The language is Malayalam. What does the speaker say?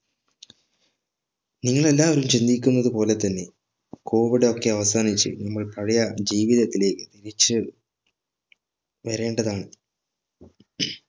ഇന്ന് എല്ലാവരും ചിന്തിക്കുന്ന ത്പോലെ തന്നെ COVID ഒക്കെ അവസാനിച്ച് നമ്മൾ പഴയ ജീവിതത്തിലേക്ക് തിരിച്ച് വേരേണ്ടതാണ്